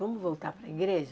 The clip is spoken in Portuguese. Vamos voltar para a igreja?